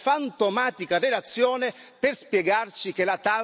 per spiegarci che la Tav è un errore e che va bloccata.